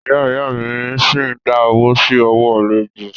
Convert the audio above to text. Ìyá ìyá a mí ṣi ń dá owó sí ọwọ́ alájọ́.